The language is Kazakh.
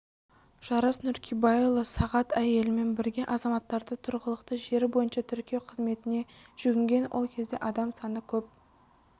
жарас нуркибайұлысағат әйелімен бірге азаматтарды тұрғылықты жері бойынша тіркеу қызметіне жүгінген ол кезде адам саны көп